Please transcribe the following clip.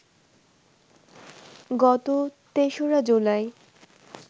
গত ৩রা জুলাই